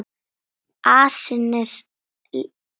Asinn er slíkur.